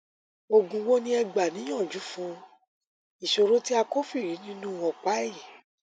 òògùn wo ni ẹ gbà níyànjú fún ìṣòro tí a kófìrí nínú ọpá ẹyìn